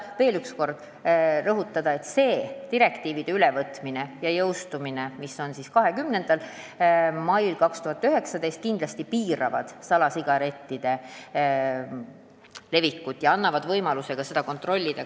Rõhutan veel üks kord, et see direktiivide ülevõtmine ja jõustumine 20. mail 2019 kindlasti piirab salasigarettide levikut, kuna annab võimaluse kõike kontrollida.